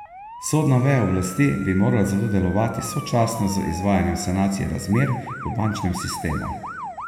Sodna veja oblasti bi morala zato delovati sočasno z izvajanjem sanacije razmer v bančnem sistemu.